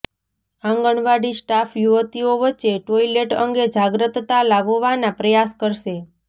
આંગણવાડી staff યુવતીઓ વચ્ચે toilet અંગે જાગ્રતતા લાવવાના પ્રયાસ કરશે